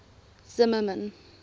zimmermann